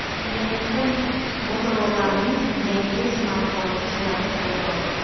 Internetda Motorola’ning yangi smartfoni surati paydo bo‘ldi.